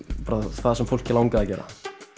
það sem fólk langaði að gera